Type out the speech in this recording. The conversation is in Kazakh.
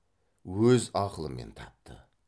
өз ақылымен тапты